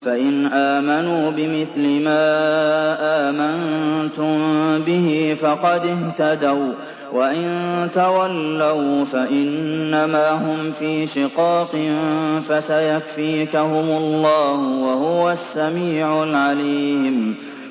فَإِنْ آمَنُوا بِمِثْلِ مَا آمَنتُم بِهِ فَقَدِ اهْتَدَوا ۖ وَّإِن تَوَلَّوْا فَإِنَّمَا هُمْ فِي شِقَاقٍ ۖ فَسَيَكْفِيكَهُمُ اللَّهُ ۚ وَهُوَ السَّمِيعُ الْعَلِيمُ